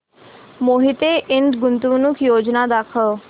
मोहिते इंड गुंतवणूक योजना दाखव